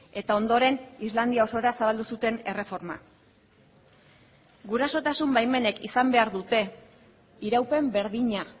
eta ondoren islandia osora zabaldu zuten erreforma gurasotasun baimenek izan behar dute iraupen berdina